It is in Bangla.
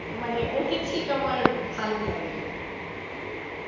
মানে ওকে ঠিক আমার ভালো লাগেনা,